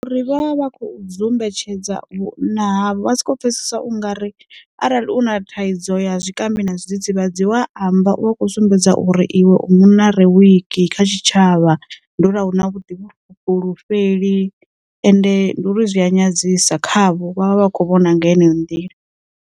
Ri vha vha kho dzumbetshedza vhunzhi havho, vha soko pfhesesa ungari arali u na thaidzo ya zwikambi na zwidzidzivhadzi wa amba u akho sumbedza uri iwe u munna re wiki kha tshitshavha, nduri a u na vhuḓifhulufheli ende ndi uri zwi a nyadzisea khavho vha vha vha kho vhona nga heneyo nḓila.